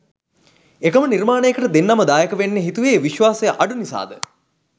එකම නිර්මාණයකට දෙන්නම දායකවෙන්න හිතුවේ විශ්වාසය අඩු නිසාද?